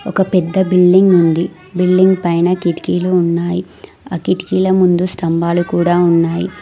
ఒక పెద్ద బిల్డింగ్ ఉంది బిల్డింగ్ పైన కిటికీలు ఉన్నాయి ఆ కిటికిల ముందు స్తంభాలు కూడా ఉన్నాయి.